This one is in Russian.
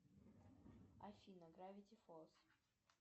афина гравити фолз